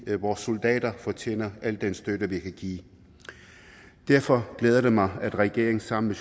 vores soldater fortjener al den støtte vi kan give derfor glæder det mig at regeringen sammen